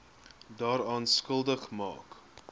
daaraan skuldig maak